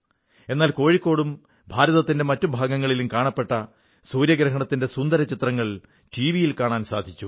എന്നാൽ കോഴിക്കോടും ഭാരതത്തിന്റെ മറ്റു ഭാഗങ്ങളിലും കാണപ്പെട്ട സൂര്യഗ്രഹണത്തിന്റെ സുന്ദരചിത്രങ്ങൾ ടിവിയിൽ കാണാൻ സാധിച്ചു